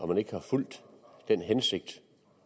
man ikke har fulgt den hensigt